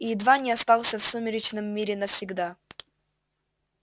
и едва не остался в сумеречном мире навсегда